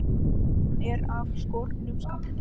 Skíman er af skornum skammti.